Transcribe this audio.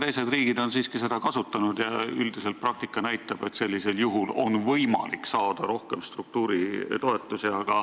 Teised riigid on seda võimalust siiski kasutanud ja üldiselt näitab praktika, et sellisel juhul on võimalik saada rohkem struktuuritoetusi.